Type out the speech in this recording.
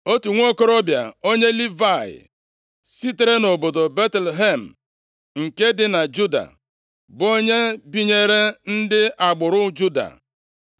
Otu nwokorobịa onye Livayị, sitere nʼobodo Betlehem nke dị na Juda, bụ onye binyere ndị agbụrụ Juda,